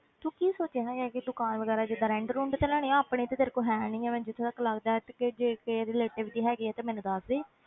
ਤੂੰ ਕੀ ਸੋਚਿਆ ਹੋਇਆ ਕਿ ਦੁਕਾਨ ਵਗ਼ੈਰਾ ਜਿੱਦਾਂ rent ਰੁੰਟ ਤੇ ਲੈਣੀ ਹੈ ਆਪਣੀ ਤੇ ਤੇਰੇ ਕੋਲ ਹੈ ਨੀ ਹੈ ਮੈਨੂੰ ਜਿੱਥੇ ਤੱਕ ਲੱਗਦਾ ਹੈ ਤੇ ਜੇ ਕਿਸੇ relative ਦੀ ਹੈਗੀ ਹੈ ਤੇ ਮੈਨੂੰ ਦੱਸਦੇ